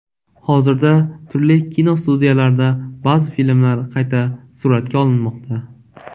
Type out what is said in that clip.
Hozirda turli kinostudiyalarda ba’zi filmlar qayta suratga olinmoqda.